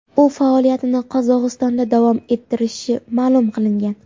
U faoliyatini Qozog‘istonda davom ettirishi ma’lum qilingan.